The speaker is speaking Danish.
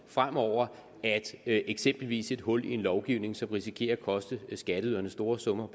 fremover at eksempelvis et hul i en lovgivning som risikerer at koste skatteyderne store summer